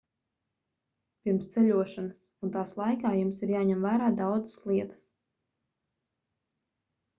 pirms ceļošanas un tās laikā jums ir jāņem vērā daudzas lietas